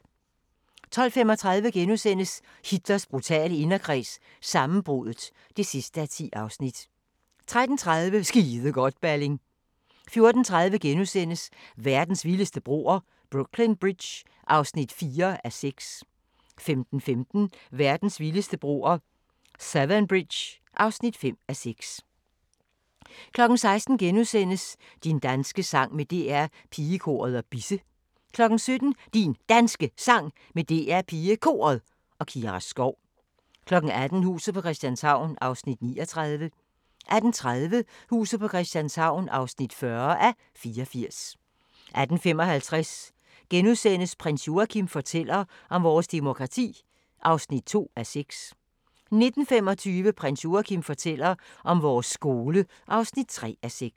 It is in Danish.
12:35: Hitler brutale inderkreds – sammenbruddet (10:10)* 13:30: Skide godt, Balling 14:30: Verdens vildeste broer – Brooklyn Bridge (4:6)* 15:15: Verdens vildeste broer – Severn Bridge (5:6) 16:00: Din danske sang med DR Pigekoret og Bisse * 17:00: Din Danske Sang med DR PigeKoret og Kira Skov 18:00: Huset på Christianshavn (39:84) 18:30: Huset på Christianshavn (40:84) 18:55: Prins Joachim fortæller om vores demokrati (2:6)* 19:25: Prins Joachim fortæller om vores skole (3:6)